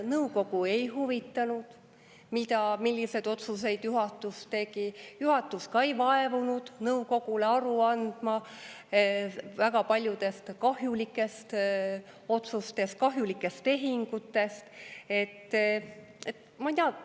Nõukogu ei huvitanud, milliseid otsuseid juhatus tegi, juhatus ei vaevunud nõukogule aru andma väga paljude kahjulike otsuste, kahjulike tehingute kohta.